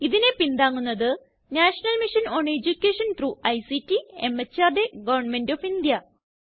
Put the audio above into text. ഇതിനെ പിന്താങ്ങുന്നത് national mission on education ICT മെഹർദ് ഗവർണ്മെന്റ് ഓഫ് ഇന്ത്യ